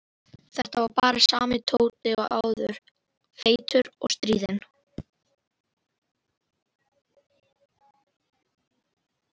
Þetta var bara sami Tóti og áður, feitur og stríðinn.